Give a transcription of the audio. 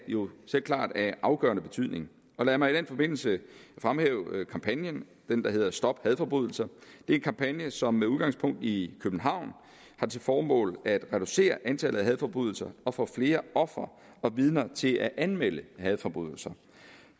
jo selvklart af afgørende betydning lad mig i den forbindelse fremhæve kampagnen den der hedder stop hadforbrydelser det er en kampagne som med udgangspunkt i københavn har til formål at reducere antallet af hadforbrydelser og få flere ofre og vidner til at anmelde hadforbrydelser